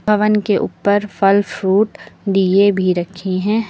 हवन के ऊपर फल फ्रूट दीये भी रखे हैं।